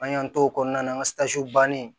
An y'an t'o kɔnɔna na an ka bannen